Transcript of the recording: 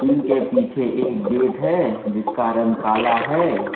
इनके पीछे एक गेट है जिसका रंग काला है।